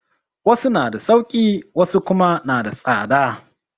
Wasu na da sauƙi wasu kuma na da tsada